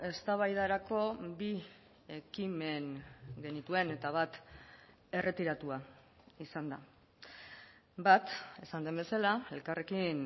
eztabaidarako bi ekimen genituen eta bat erretiratua izan da bat esan den bezala elkarrekin